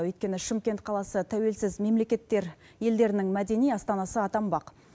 өйткені шымкент қаласы тәуелсіз мемлекеттер елдерінің мәдени астанасы атанбақ